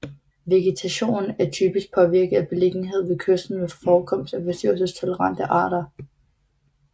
Vegetationen er typisk påvirket af beliggenheden ved kysten ved forekomst af forstyrrelsestolerante arter